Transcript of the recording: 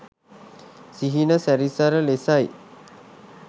සිහින සැරිසර ලෙස යි.